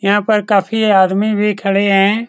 यहां पर काफी आदमी भी खड़े हैं।